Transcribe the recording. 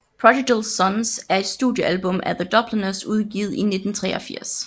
Prodigal Sons er et studiealbum af The Dubliners udgivet i 1983